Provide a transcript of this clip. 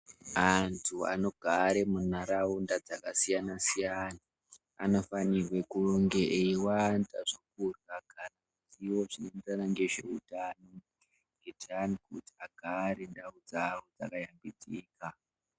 Antu anogare munharaunda dzakasiyana-siyana anofanirwe kunge eiwanza zvekurya zvinoenderana nezveutano kuitira antu kuti agare ndau dzavo dzaka shambidzika.